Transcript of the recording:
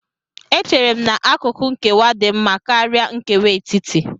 Echere m na akụkụ nkewa dị mma karịa nkewa etiti